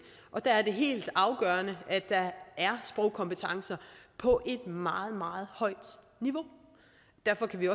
og der er det helt afgørende at der er sprogkompetencer på et meget meget højt niveau derfor kan vi